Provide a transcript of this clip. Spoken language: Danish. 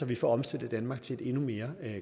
vi får omstillet danmark til et endnu mere